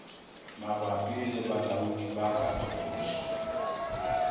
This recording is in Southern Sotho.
mabapi le balaodi ba katoloso